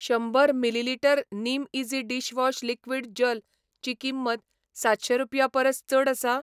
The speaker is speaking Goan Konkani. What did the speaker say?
शंबर मिलीलिटर निमईझी डिशवॉश लिक्वीड जल ची किंमत सातशें रुपयां परस चड आसा?